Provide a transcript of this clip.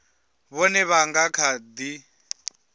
vhone vha nga kha ḓi